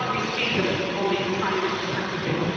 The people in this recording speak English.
You can hardly see them on these tiny little packages.